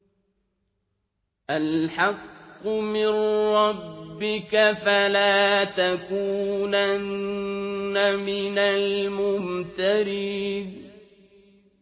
الْحَقُّ مِن رَّبِّكَ ۖ فَلَا تَكُونَنَّ مِنَ الْمُمْتَرِينَ